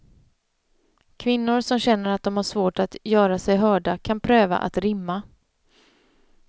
Kvinnor som känner att de har svårt att göra sig hörda kan pröva att rimma.